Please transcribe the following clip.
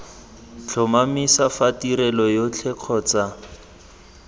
tlhomamisa fa tirelo yotlhe kgotsa